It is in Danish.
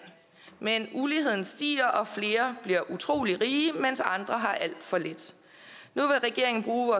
men uligheden stiger og flere bliver utrolig rige mens andre har alt for lidt nu vil regeringen bruge